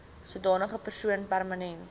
sodanige persoon permanent